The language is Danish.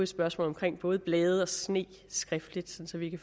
spørgsmål omkring både blade og sne skriftligt så vi